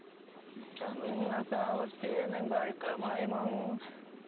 жаныңа салып сенің байқамай мұң